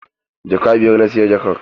Jaka biyar na saya jakar.